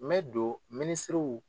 N bɛ don minisiriw